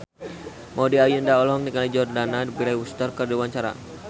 Maudy Ayunda olohok ningali Jordana Brewster keur diwawancara